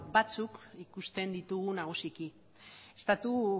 batzuk ikusten ditugu nagusiki estatu